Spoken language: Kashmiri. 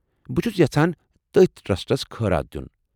بہٕ چُھس یژھان تٔتھۍ ٹرٛسٹس خٲرات دِیُن ۔